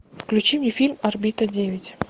включи мне фильм орбита девять